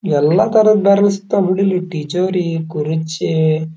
ಎಲ್ಲ ತರಹದ ಬ್ಯಾರಲ್ ಸಿಗಟಾವ್ ಬಿಡಿಲ್ಲಿ ಟಿಜೋರಿ ಕುರ್ಚಿ--